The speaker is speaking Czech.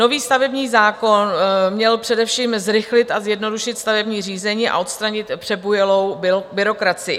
Nový stavební zákon měl především zrychlit a zjednodušit stavební řízení a odstranit přebujelou byrokracii.